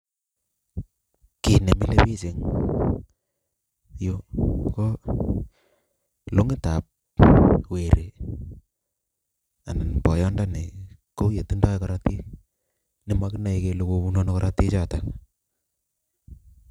kii ne mile biich eng yu ko long'itab weri anan boyondoni katindoi korotik nemakinoi kole kobunu ano korotichoto.